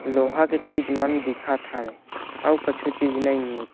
लोहा के चीज़ मन दिखत हवे अउ कछु चीज़ नइ ए।